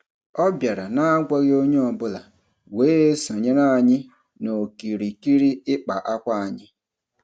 Ọ bịara n'agwaghị onye ọbụla wee sonyere anyi n'okirikiri ịkpa akwa anyị.